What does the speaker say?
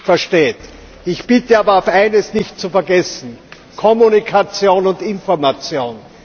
versteht. Ich bitte aber auch, eines nicht zu vergessen Kommunikation und Information.